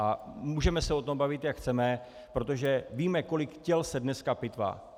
A můžeme se o tom bavit jak chceme, protože víme, kolik těl se dneska pitvá.